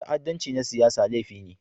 Ta'addanci na siyasa laifi ne.